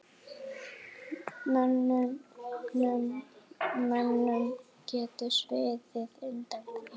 Mönnum getur sviðið undan því.